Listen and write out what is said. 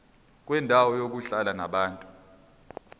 kwendawo yokuhlala yabantu